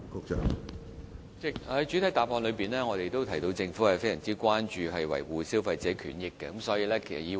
主席，正如我在主體答覆中提到，政府非常關注維護消費者權益。